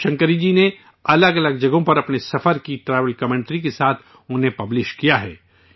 شیو شنکری جی نے الگ الگ جگہوں پر اپنا سفر کیا، ٹریول کمنٹری کے ساتھ انہیں پبلش کیا ہے